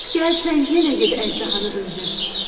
Gəl sən yenə get əjdahanı öldür.